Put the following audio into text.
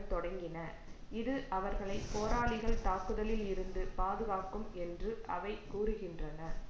தொடங்கின இது அவர்களை போராளிகள் தாக்குதலில் இருந்து பாதுகாக்கும் என்று அவை கூறுகின்றன